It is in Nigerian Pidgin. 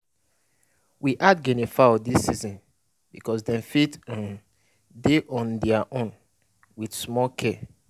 we add guinea fowl dis season because dem fit um dey on there own with small care